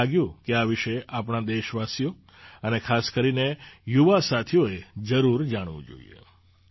મને લાગ્યું કે આ વિશે આપણા દેશવાસીઓ અને ખાસ કરીને યુવા સાથીઓએ જરૂર જાણવું જોઈએ